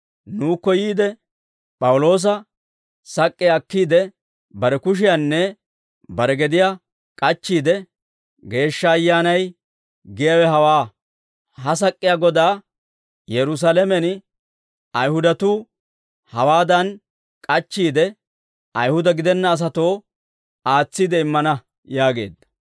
Nuukko yiide, P'awuloosa sak'k'iyaa akkiide bare kushiyaanne bare gediyaa k'achchiide, «Geeshsha Ayyaanay giyaawe hawaa; ha sak'k'iyaa godaa Yerusaalamen Ayihudatuu hawaadan k'achchiide, Ayihuda gidenna asatoo aatsiide immana» yaageedda.